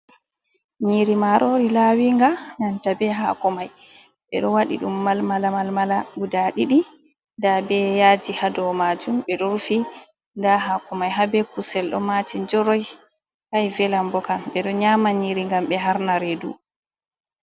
Nyiri marori lawinga, nanta be hakomai ɓe ɗo wadi ɗum malmala-malmala guda ɗiɗi, nda ɓe yaji hado majum ɓe do rufi, nda hakomai ha be kusel do mati njoroi; kai velan bokam ɓe ɗo nyama nyiri ngam ɓe harna redu.